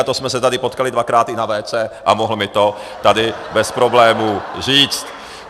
A to jsme se tady potkali dvakrát i na WC a mohl mi to tady bez problémů říct.